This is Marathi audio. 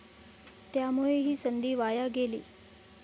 त्यामुळे ही संधी वाया गेली.